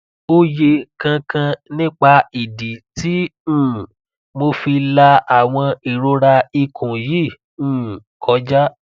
oye kan kan nipa idi ti um mo fi la awon irora ikun yi um koja